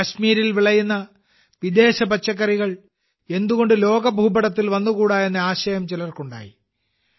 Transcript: കാശ്മീരിൽ വിളയുന്ന വിദേശ പച്ചക്കറികൾ എന്തുകൊണ്ട് ലോക ഭൂപടത്തിൽ കൊണ്ടുവന്നുകൂടാ എന്ന ആശയം ചിലർക്കുണ്ടായി